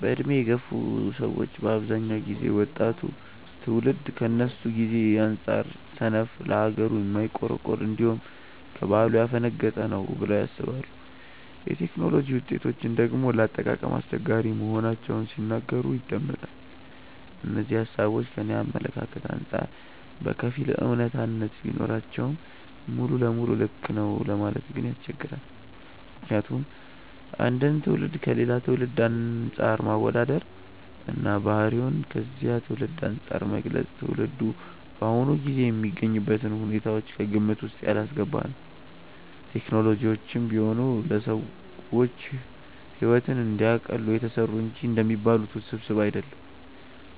በዕድሜ የገፉ ሰዎች በአብዛኛው ጊዜ ወጣቱ ትውልድ ከነሱ ጊዜ አንጻር ሰነፍ፣ ለሀገሩ የማይቆረቆር፣ እንዲሁም ከባህሉ ያፈነገጠ ነው ብለው ያስባሉ። የቴክኖሎጂ ውጤቶችን ደግሞ ለአጠቃቀም አስቸጋሪ መሆናቸውን ሲናገሩ ይደመጣል። እነዚህ ሃሳቦች ከኔ አመለካከት አንጻር በከፊል አውነታነት ቢኖራቸውም ሙሉ ለሙሉ ልክ ነው ለማለት ግን ያስቸግራል። ምክንያቱም አንድን ትውልድ ከሌላ ትውልድ አንፃር ማወዳደር እና ባህሪውን ከዚያ ትውልድ አንፃር መግለጽ ትውልዱ በአሁኑ ጊዜ የሚገኝበትን ሁኔታዎች ከግምት ውስጥ ያላስገባ ነው። ቴክኖሎጂዎችም ቢሆኑ ለሰዎች ሕይወትን እንዲያቀሉ የተሰሩ እንጂ እንደሚባሉት ውስብስብ አይደሉም።